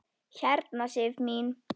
Hérna Sif mín.